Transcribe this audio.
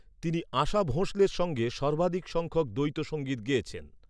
তিনি আশা ভোঁসলের সঙ্গে সর্বাধিক সংখ্যক দ্বৈতসঙ্গীত গেয়েছেন।